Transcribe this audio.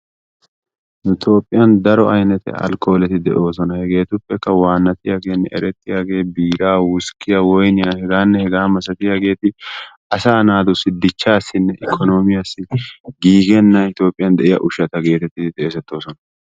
Nu Toophiyaan daro aynnete alkkooleti de'oosona. Hegetuppe waanantiyaagenne eretiyaagee, biiraa, wuskkiyaa, woynniyaa heganne hegaa malatiyaageeti asaa naatu dichchassine ikkoonomiyaayo giigena Itoophiyaan de'iyaa ushshata geteeti xeessettoosona,